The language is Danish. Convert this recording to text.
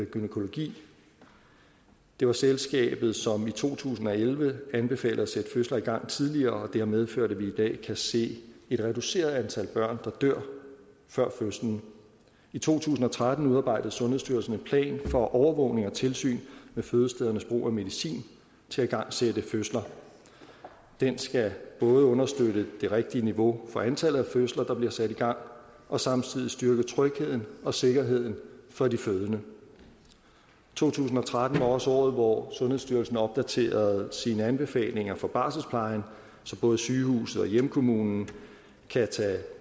gynækologi det var selskabet som i to tusind og elleve anbefalede at sætte fødsler i gang tidligere og det har medført at vi i dag kan se et reduceret antal børn der dør før fødslen i to tusind og tretten udarbejdede sundhedsstyrelsen en plan for overvågning og tilsyn med fødestedernes brug af medicin til at igangsætte fødsler den skal både understøtte det rigtige niveau for antallet af fødsler der bliver sat i gang og samtidig styrke trygheden og sikkerheden for de fødende to tusind og tretten var også året hvor sundhedsstyrelsen opdaterede sine anbefalinger for barselsplejen så både sygehuse og hjemkommuner